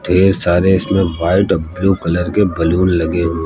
ये सारे इसमें वाइट और ब्लू कलर के बैलून लगे हुए--